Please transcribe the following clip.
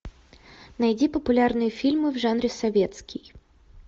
найди популярные фильмы в жанре советский